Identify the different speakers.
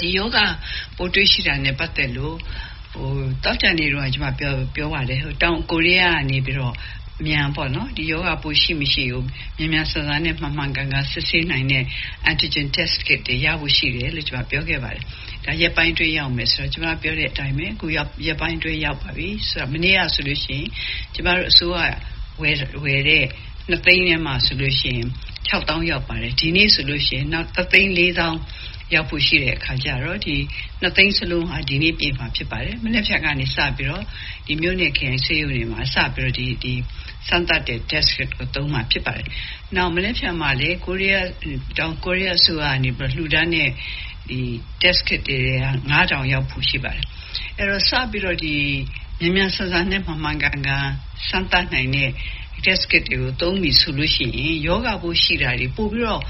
Speaker 1: ဒီရောဂါပိုး တွေ့ရှိတာနဲ့ ပတ်သက်လို့ သောကြာနေ့တုန်းက ကျမ ပြောပါတယ်။ တောင်ကိုရီးယား ကနေပြီးတော့ ဒီရောဂါပိုး ရှိ မရှိကို မြန်မြန်ဆန်ဆန်နဲ့ မှန်မှန်ကန်ကန်စစ်ဆေးနိုင်တဲ့ Antigen Test Kit တွေရဖို့ ရှိတယ်လို့ ကျမပြောခဲ့ပါတယ်။ ဒီရက်ပိုင်းအတွင်းရောက်မယ်ဆိုတာ ကျမပြောတဲ့အတိုင်းပဲ ခုရက်ပိုင်းအတွင်း ရောက်ပါပြီ။ မနေ့ကဆိုရင် ကျမတို့ အစိုးရက ဝယ်တဲ့ ၂ သိန်းထဲမှာဆိုရင် ၆ သောင်း ရောက်ပါတယ်။ ဒီနေ့ဆိုရင် နောက် ၁ သိန်း ၄ သောင်း ရောက်ဖို့ ရှိတဲ့အခါကျတော့ ဒီ ၂ သိန်း စလုံးဟာ ဒီနေ့ ပြည့်မှာ ဖြစ်ပါတယ်။ မနက်ဖြန်ကစပြီးတော့ မြို့နယ် ၊ ခရိုင် ဆေးရုံတွေမှာ စပြီးတော့ စမ်းသပ်တဲ့ test kit ကို သုံးမှာဖြစ်ပါတယ်။ နောက် မနေက်ဖြန်မှာလည်း တောင်ကိုရီးယား အစိုးရကနေပြီးတော့ လှူဒန်းတဲ့ Test Kit တွေထဲက ၅ ထောင်ရောက်ဖို့ ရှိပါတယ်။ အဲဒီတော့ စပြီးတော့ မြန်မြန်ဆန်ဆန်နဲ့ မှန်မှန်ကန်ကန် စမ်းသပ်နိုင်တဲ့ test kit တွေကို သုံးပြီဆိုရင် ရောဂါ
Speaker 2: ပိုး ရှိတာတွေ ပိုပြီးတော့